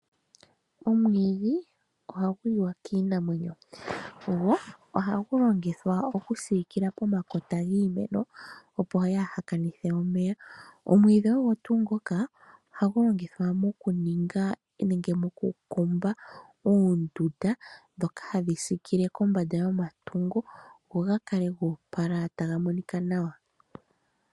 Omwiidhi ohagu liwa kiinamwenyo, go ohagu longithwa okusiikila pomakota giimeno opo yaaha kanithe omeya. Omwiidhi ogo tuu ngoka ohagu longithwa moku ninga nenge moku kumba oondunda ndhoka hadhi siikile kombanda yomatungo, go ga kale ta ga monika nawa.